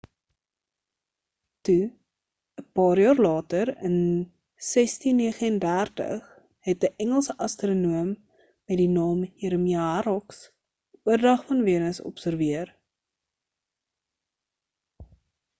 toe 'n paar jaar later in 1639 het 'n engelse astronoom met die naam jeremia horrocks 'n oordrag van venus observeer